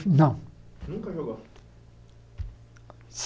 Não nunca jogou?